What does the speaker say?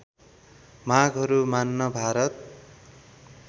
मागहरू मान्न भारत